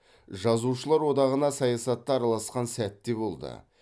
жазушылар одағына саясат та араласқан сәт те де болды